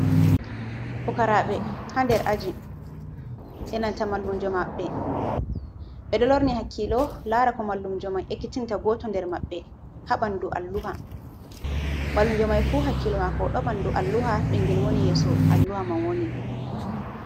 Fukaraɓe hander ajin enanta mallunjo maɓɓe, ɓe dolorni hakilo lara ko mallumjoman ekitinta goto der mabbe, ha bandu alluha, mallumjo mai fu hakilo mako do bandu alluha bingil wani yeso alluha man wani.